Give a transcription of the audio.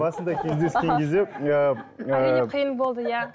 басында кездескен кезде ыыы әрине қиын болды иә